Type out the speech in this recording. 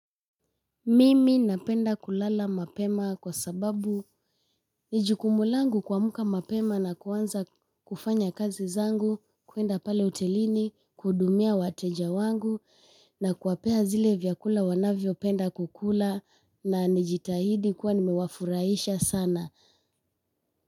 Mimi napenda kulala mapema kwa sababu ni jukumu langu kuamka mapema na kuanza kufanya kazi zangu, kwenda pale hotelini kuhudumia wateja wangu. Na kuwapea zile vyakula wanavyopenda kula, nijitahidi kuwafurahisha sana.